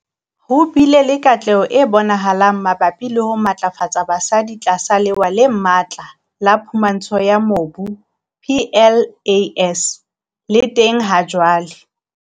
Ho bile le katleho e bonahalang mabapi le ho matlafatsa basadi tlasa Lewa le Matla la Phumantsho ya Mobu, PLAS, le teng hajwale.